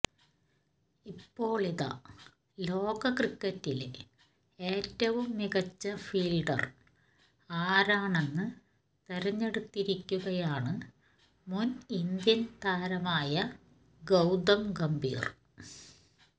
ഇപ്പോളിതാ ലോകക്രിക്കറ്റിലെ ഏറ്റവും മികച്ച ഫീൽഡർ ആരാണെന്ന് തിരഞ്ഞെടുത്തിരിക്കുകയാണ് മുൻ ഇന്ത്യൻ താരമായ ഗൌതം ഗംഭീർ